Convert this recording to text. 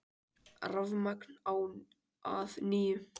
Rafmagn á að nýju